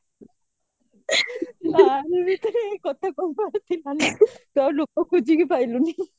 ୟାରି ଭିତରେ ଏଇ କଥା ତୁ ଆଉ ଲୋକ ଖୋଜିକି ପାଇଲୁନି